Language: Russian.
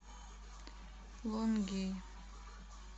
лонгей